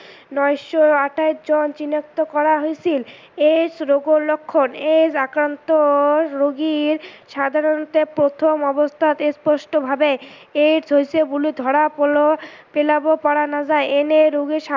আটাইকেইজন চিনাক্ত কৰা হৈছিল। AIDS ৰোগৰ লক্ষণ AIDS আক্ৰান্ত ৰোগীৰ প্ৰথম অৱস্থাত স্পষ্ট ভাৱে AIDS হৈছে বুলি ধৰা পেলাব পাৰা নাযায়।